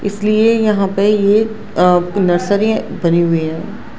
इसलिए यहां पे ये अ नर्सरी बनी हुई है।